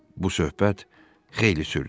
Bu söhbət xeyli sürdü.